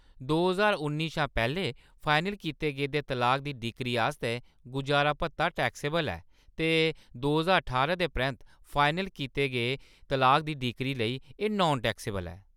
दो ज्हार उ'न्नी शा पैह्‌‌‌लें फाइनल कीते गेदे तलाक दी डिक्री आस्तै गुजारा भत्ता टैक्सेबल ऐ ते दो ज्हार ठारां दे परैंत्त फाइनल कीते गे तलाक दी डिक्री लेई, एह्‌‌ नान-टैक्सेबल ऐ।